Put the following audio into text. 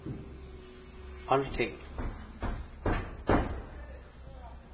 allting